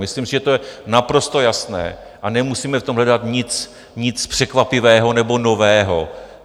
Myslím, že to je naprosto jasné a nemusíme v tom hledat nic překvapivého nebo nového.